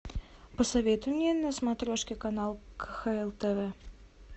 посоветуй мне на смотрешке канал кхл тв